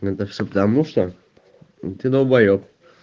иногда всё потому что ты долбаёб